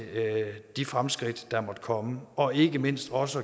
de fremskridt der måtte komme og ikke mindst også